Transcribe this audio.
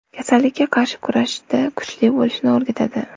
Kasallikka qarshi kurashishda kuchli bo‘lishni o‘rgatadi.